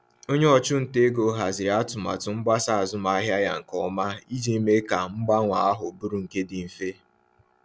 Onye ọchụnta ego haziri atụmatụ mgbasa azụmahịa ya nke ọma iji mee ka mgbanwe ahụ bụrụ nke dị mfe.